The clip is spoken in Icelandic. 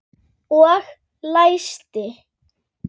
Og læsti.